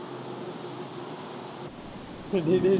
அஹ் டேய் டேய்